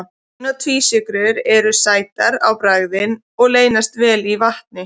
Ein- og tvísykrur eru sætar á bragðið og leysast vel í vatni.